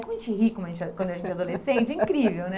Como a gente ri como a gente é quando a gente é adolescente, é incrível, né?